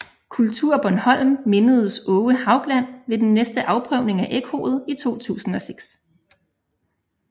KulturBornholm mindedes Aage Haugland ved den næste afprøvning af ekkoet i 2006